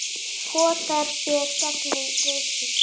potar sér gegnum rykið